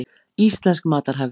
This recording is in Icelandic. Íslensk matarhefð.